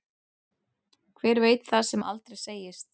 Hver veit það sem aldrei segist.